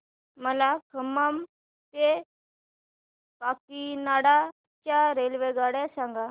मला खम्मम ते काकीनाडा च्या रेल्वेगाड्या सांगा